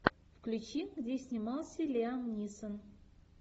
включи где снимался лиам нисон